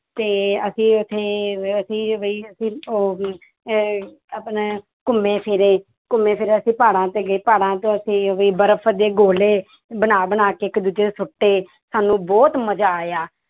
ਤੇ ਅਸੀਂ ਉੱਥੇ ਅਸੀਂ ਵੀ ਅਹ ਆਪਣਾ ਘੁੰਮੇ ਫਿਰੇ ਘੁੰਮੇ ਫਿਰੇ ਅਸੀਂ ਪਹਾੜਾਂ ਤੇ ਗਏ ਪਹਾੜਾਂ ਤੇ ਅਸੀਂ ਵੀ ਬਰਫ਼ ਦੇ ਗੋਲੇ ਬਣਾ ਬਣਾ ਕੇ ਇੱਕ ਦੂਜੇ ਤੇ ਸੁੱਟੇ ਸਾਨੂੰ ਬਹੁਤ ਮਜ਼ਾ ਆਇਆ।